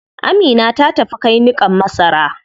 Amina ta tafi kai niƙan masara.